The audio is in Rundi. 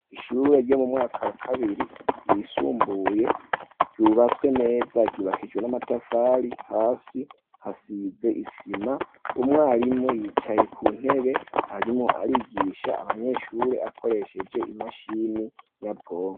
ishure ryo mu mwaka wa kabiri wisumbuye ryubatswe neza ryubakijwe n'amatafari hasi hasize isima umwarimu yicaye ku ntebe arimwo arigisha abanyeshure akoresheje imashini nyabwonko